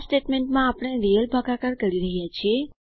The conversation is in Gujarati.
આ સ્ટેટમેન્ટમાં આપણે રીયલ ભાગાકાર કરી રહ્યા છે